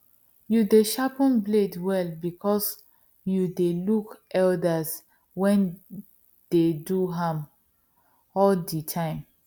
you dey sharpen blade well because you dey look elders wen dey do am all the time